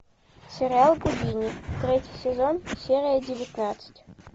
сериал гудини третий сезон серия девятнадцать